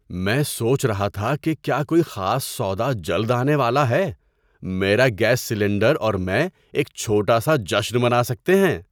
میں سوچ رہا تھا کہ کیا کوئی خاص سودا جلد آنے والا ہے۔ میرا گیس سلنڈر اور میں ایک چھوٹا سا جشن منا سکتے ہیں!